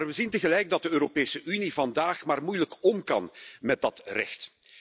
Maar we zien tegelijk dat de Europese Unie vandaag maar moeilijk om kan met dat recht.